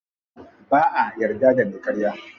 Ba'a yarda da me karya.